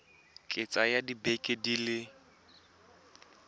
ka tsaya dibeke di le